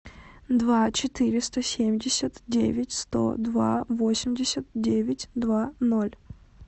два четыреста семьдесят девять сто два восемьдесят девять два ноль